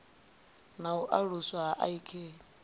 na u aluswa ha ik